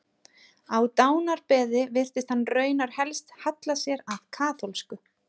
Á dánarbeði virtist hann raunar helst halla sér að kaþólsku.